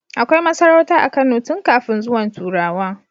Akai masarauta a Kano tun kafin zuwan turawa